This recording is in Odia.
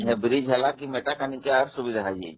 ସେ bridge ହେଲା ପରେ ମେଟାକାନି କୁ ଆହୁରି ସୁବିଧା ହେଇଯାଇଛି